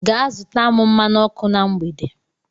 Gaa zụta m mmanụ ọkụ na mgbede.